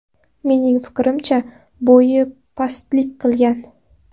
Mening fikrimcha, bo‘yi pastlik qilgan.